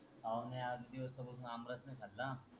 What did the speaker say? पाउणे आठ दिवस म्हणून आमरस त खाल्ला.